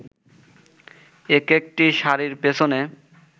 একেকটি শাড়ির পেছনে